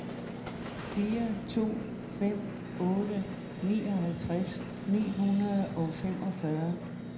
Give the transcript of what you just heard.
fire to fem otte nioghalvtreds ni hundrede og femogfyrre